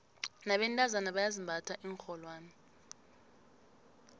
nabentazana bayazimbatha iinrholwane